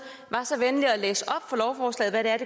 var så venlig at læse